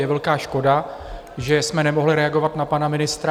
Je velká škoda, že jsme nemohli reagovat na pana ministra.